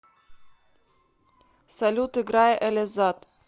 салют играй элизад